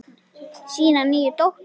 Sína nýju dóttur.